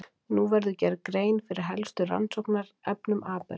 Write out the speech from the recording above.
Nú verður gerð grein fyrir helstu rannsóknarverkefnum Abels.